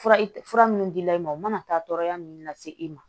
Fura fura minnu dila i ma u mana taa tɔɔrɔya minnu lase i ma